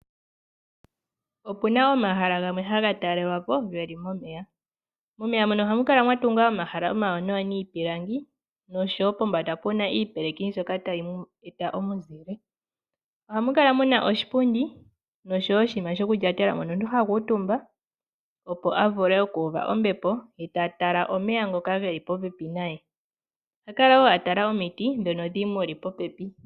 Opuna omahala gamwe haga talelwapo geli momeya. Momeya mono ohamu kala mwatungwa omahala omawanawa niipilangi noshowo pombanda puna iipeleki. Ohamu kala muna oshipundi noshowo oshinima shokulyatela omuntu ta tala omeya ngoka geli popepi naye oshowo omiti.